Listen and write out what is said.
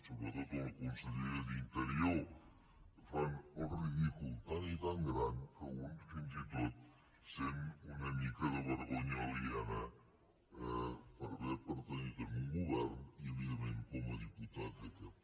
sobretot el conseller d’interior fan el ridícul tan i tan gran que un fins i tot sent una mica de vergonya aliena per haver pertangut a un govern i evidentment com a diputat d’aquest